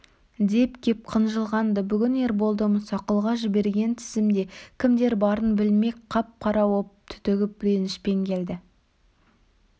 деп кеп қынжылған-ды бүгін ерболды мұсақұлға жіберген тізімде кімдер барын білмек қап-қара боп түтігіп ренішпен келді